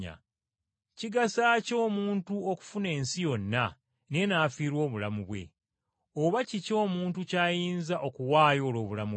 Kigasa ki omuntu okufuna ensi yonna naye n’afiirwa obulamu bwe? Oba kiki omuntu kyayinza okuwaayo olw’obulamu bwe?